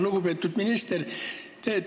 Lugupeetud minister!